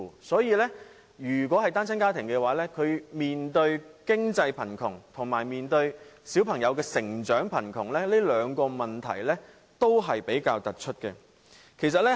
所以，單親家庭面對經濟貧窮和小朋友成長貧窮，這兩個問題是比較突出的。